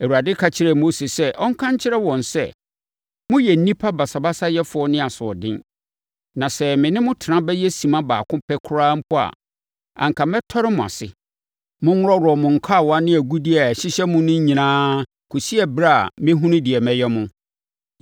Awurade ka kyerɛɛ Mose sɛ ɔnka nkyerɛ wɔn sɛ, “Moyɛ nnipa basabasayɛfoɔ ne asoɔden. Na sɛ me ne mo tena bɛyɛ simma baako pɛ koraa mpo a, anka mɛtɔre mo ase. Monworɔworɔ mo nkawa ne agudeɛ a ɛhyehyɛ mo no nyinaa kɔsi ɛberɛ a mɛhunu deɛ mɛyɛ mo.”